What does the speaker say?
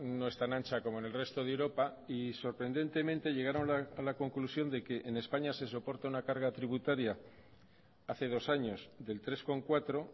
no es tan ancha como en el resto de europa y sorprendentemente llegaron a la conclusión de que en españa se soporta una carga tributaria hace dos años del tres coma cuatro